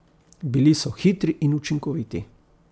Bili so hitri in učinkoviti.